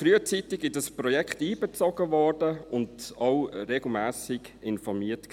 Die SAK wurde frühzeitig in dieses Projekt einbezogen und wurde auch regelmässig informiert.